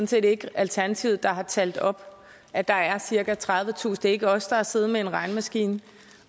set ikke alternativet der har talt op at der er cirka tredivetusind ikke os der har siddet med en regnemaskine